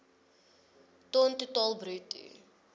ton totaal bruto